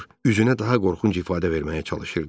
üzünə daha qorxunc ifadə verməyə çalışırdı.